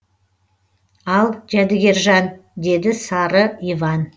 ал жәдігержан деді сары иван